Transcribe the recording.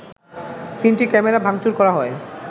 তিনটি ক্যামেরা ভাংচুর করা হয়